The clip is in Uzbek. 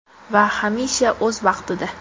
Va hamisha o‘z vaqtida!